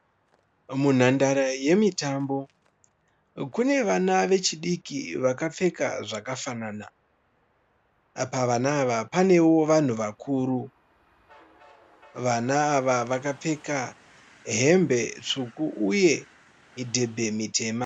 Munhandare yemitambo kune vana vechidiki vakapfeka zvakafanana. Pavana ava panewo vanhu vakuru. Vana ava vakapfeka hembe tsvuku uye midhebhe mitema.